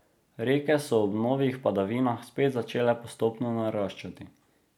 Reke so ob novih padavinah spet začele postopno naraščati.